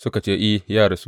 Suka ce, I, ya rasu.